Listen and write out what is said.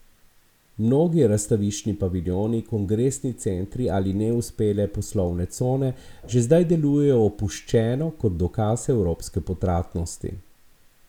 Mnogi razstaviščni paviljoni, kongresni centri ali neuspele poslovne cone že zdaj delujejo opuščeno kot dokaz evropske potratnosti.